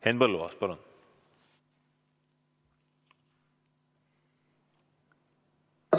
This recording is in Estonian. Henn Põlluaas, palun!